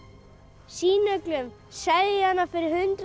sýna öllum selja hana fyrir hundrað